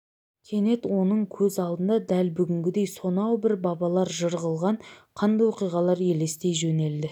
кенет оның көз алдында дәл бүгінгідей сонау бір бабалар жыр қылған қанды оқиғалар елестей жөнелді